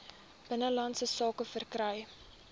binnelandse sake verkry